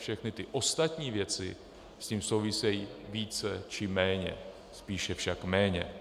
Všechny ty ostatní věci s tím souvisejí více či méně, spíše však méně.